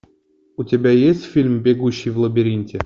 у тебя есть фильм бегущий в лабиринте